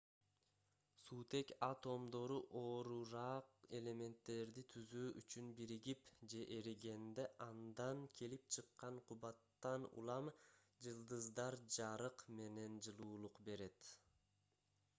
суутек атомдору оорураак элементтерди түзүү үчүн биригип же эригенде андан келип чыккан кубаттан улам жылдыздар жарык менен жылуулук берет